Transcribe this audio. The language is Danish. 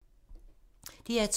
DR2